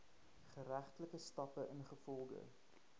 geregtelike stappe ingevolge